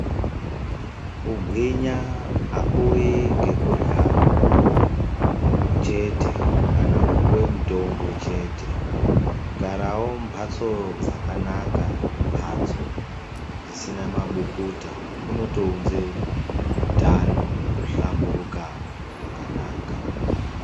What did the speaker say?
Kugwinya akuuyi ngekurya chete kana kupuwe mutombo chete, kugarawo mumhatso dzakanaka dzisina mabukuta kunotounze utano nekuhlamburuka kwakanaka.